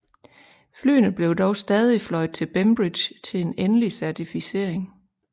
Flyene blev dog stadig fløjet til Bembridge til en endelig certificering